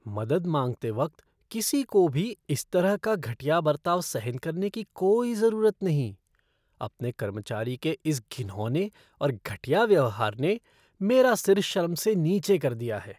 मदद माँगते वक्त किसी को भी इस तरह का घटिया बर्ताव सहन करने की कोई ज़रूरत नहीं। अपने कर्मचारी के इस घिनौने और घटिया व्यवहार ने मेरा सिर शर्म से नीचे कर दिया है।